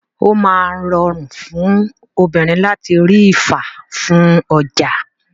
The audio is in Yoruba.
O máa ń rọrùn fún obìnrin láti rí ifá fún ọjà.